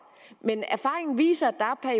men erfaringen viser at der er